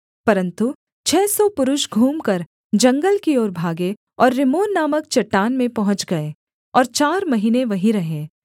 परन्तु छः सौ पुरुष घूमकर जंगल की ओर भागे और रिम्मोन नामक चट्टान में पहुँच गए और चार महीने वहीं रहे